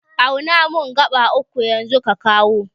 Auna mun gaɓa uku yanzu ka kawo